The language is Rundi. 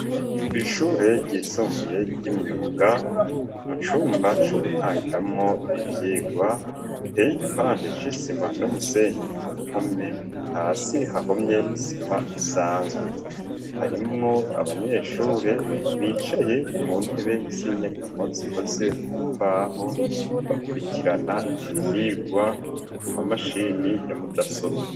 Kw'ishure ryisumbuye ry'imyuga mu cumba co gutangiramwo ivyigwa, iteye igipande c'isima n'umusenyi ku mpome ,hasi hahomye isima isanzwe, harimwo abanyeshure bicaye ku ntebe z'inyagamo zikoze mu mbaho ,bakurikirana ivyigwa mu ma mashini yamudasobwa.